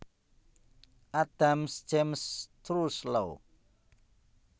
Adams James Truslow